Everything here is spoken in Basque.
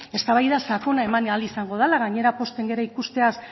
eztabaida sakona eman ahal izango dela gainera pozten gara ikusteaz